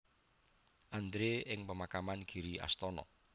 Andre ing pemakaman Giri Astana